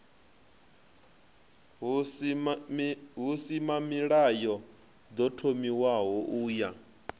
husimamilayo ḓo thomiwaho u ya